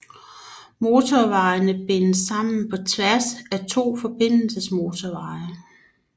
Motorvejene bindes sammen på tværs af to forbindelsesmotorveje